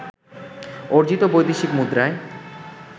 অর্জিত বৈদেশিক মুদ্রায়